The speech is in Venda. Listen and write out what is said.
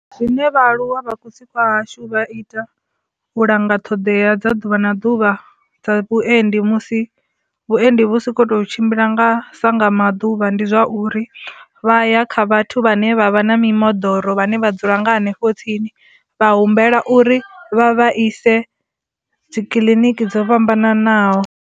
Zwine vhaaluwa vha kusi kwa hashu vha ita u langa ṱhoḓea dza ḓuvha na ḓuvha dza vhuendi musi vhuendi vhusi khou tou tshimbila nga sa nga maḓuvha ndi zwa uri vha ya kha vhathu vhane vha vha na mimoḓoro vhane vha dzula nga henefho tsini vha humbela uri vha ise dzikiḽiniki dzo fhambananaho.